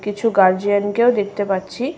কিছু গারজিয়ান কেও দেখতে পাচ্ছি।